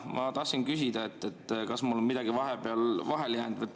Ma tahtsin küsida, kas mul on midagi vahepeal vahele jäänud.